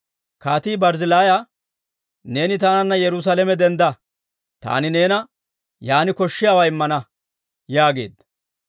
Kaatii Barzzillaaya, «Neeni taananna Yerusaalame dendda; taani new yaan koshshiyaawaa immana» yaageedda.